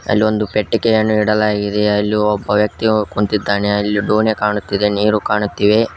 ಅಲ್ಲೊಂದು ಪೆಟ್ಟಿಗೆಯನ್ನು ಇಡಲಾಗಿದೆ ಅಲ್ಲಿ ಒಬ್ಬ ವ್ಯಕ್ತಿಯು ಕುಂತಿದ್ದಾನೆ ಅಲ್ಲಿ ದೋಣಿ ಕಾಣುತ್ತಿದೆ ನೀರು ಕಾಣುತ್ತಿವೆ.